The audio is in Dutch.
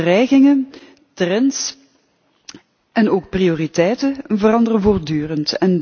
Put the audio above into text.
Dreigingen, trends en ook prioriteiten veranderen voortdurend.